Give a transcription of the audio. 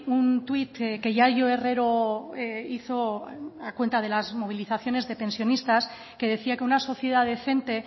un tuit que yayo herrero hizo a cuenta de las movilizaciones de pensionistas que decía que una sociedad decente